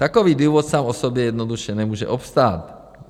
Takový důvod sám o sobě jednoduše nemůže obstát.